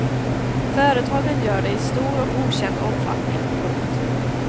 Företagen gör det i stor och okänd omfattning. punkt